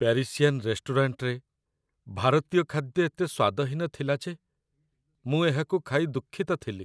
Parisian ରେଷ୍ଟୁରାଣ୍ଟରେ ଭାରତୀୟ ଖାଦ୍ୟ ଏତେ ସ୍ୱାଦହୀନ ଥିଲା ଯେ ମୁଁ ଏହାକୁ ଖାଇ ଦୁଃଖିତ ଥିଲି।